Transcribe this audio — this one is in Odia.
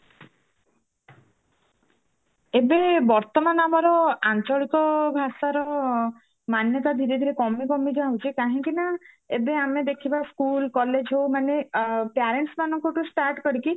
ଏବେ ବର୍ତମାନ ଆମର ଆଞ୍ଚଳିକ ଭାଷାର ମାନ୍ୟତା ଧୀରେ ଧୀରେ କମି କମି ଯାଉଛି କାହିଁକି ନା ଏବେ ଆମେ ଦେଖିବା school college ହୋଉ ମାନେ parents ମାନଙ୍କ ଠୁ start କରିକି